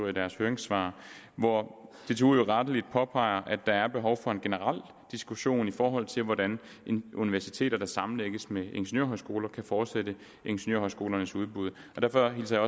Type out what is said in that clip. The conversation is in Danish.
i deres høringssvar hvor dtu jo rettelig påpeger at der er behov for en generel diskussion i forhold til hvordan universiteter der sammenlægges med ingeniørhøjskoler kan fortsætte ingeniørhøjskolernes udbud derfor hilser